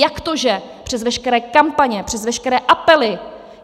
Jak to, že přes veškeré kampaně, přes veškeré apely?